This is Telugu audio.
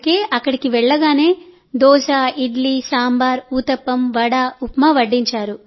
అందుకే అక్కడికి వెళ్లగానే దోశ ఇడ్లీ సాంబార్ ఊతప్పం వడ ఉప్మా వడ్డించారు